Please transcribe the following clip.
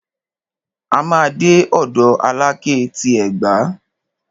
A máa dé ọ̀dọ̀ Alákẹ́ ti Ẹ̀gbá.